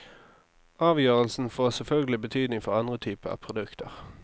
Avgjørelsen får selvfølgelig betydning for andre typer produkter.